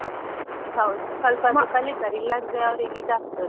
ಹೌದು, ಸ್ವಲ್ಪ ಆದ್ರೂ ಕಲಿತಾರೆ ಇಲ್ಲಾಂದ್ರೆ ಅವ್ರಿಗೆ ಇದಾಗ್ತದೆ.